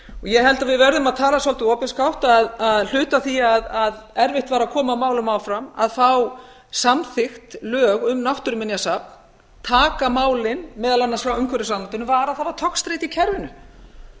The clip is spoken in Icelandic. ég held að við verðum að tala svolítið opinskátt að hluti af því að erfitt var að koma málum áfram að fá samþykkt lög um náttúruminjasafn taka málin meðal annars frá umhverfisráðuneytinu var að það var togstreita í kerfinu